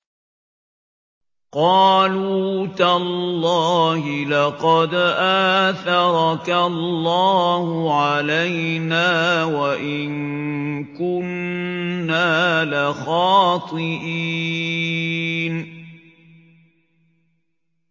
قَالُوا تَاللَّهِ لَقَدْ آثَرَكَ اللَّهُ عَلَيْنَا وَإِن كُنَّا لَخَاطِئِينَ